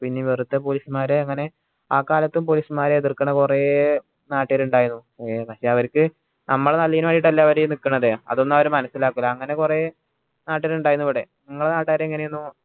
പിന്നെ വെറുതെ police മാരെ അങ്ങനെ ആകാലത്തും police മാരെ എതിർക്കണ കൊറേ നാട്ടുകാർ ഇണ്ടായിരുന്നു ഏർ പക്ഷെ അവരിക്ക് നമ്മളെ നല്ലെന് വേണ്ടീട്ട് അല്ലെ അവര് നിക്കണത് അതൊന്നു അവര് മനസ്സിലാക്കൂല അങ്ങനെ കൊറേ നാട്ടിൽ ഇണ്ടായിരുന്നു ഇവിടെ ഇങ്ങളെ നാട്ടാർ എങ്ങനെയായിരുന്നു